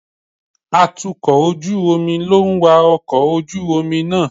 Atukọ̀ ojú omi ló ń wa ọkọ̀ ojú omi náà.